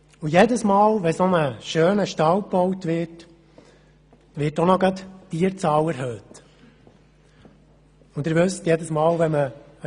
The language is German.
Jedes Mal, wenn so ein schöner Stall gebaut wird, erhöht man zugleich die Tierzahl.